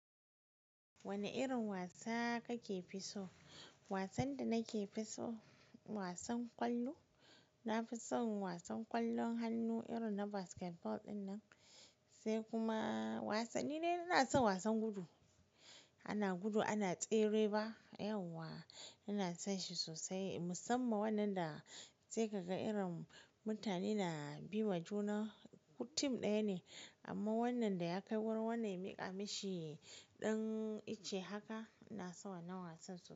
Wane irin wasa kake fi so? Wasan da nake fi so, wasan ƙwallo. Na fi son wasan ƙwallon hannu irin na basketball ɗinnan, sai kuma wasanni dai ina son wasan gudu. Ana gudu ana tsere ba, yawwa ina son shi sosai musamman wannan da sai ka ga irin mutane na bi wa juna, mutum ɗaya ne amma wannan da ya kai wurin wannan ya miƙa mishi ɗan ice haka ina son wannan wasan sosai.